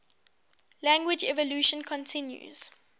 language evolution continues